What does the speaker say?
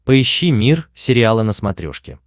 поищи мир сериала на смотрешке